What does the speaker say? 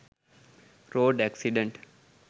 road accident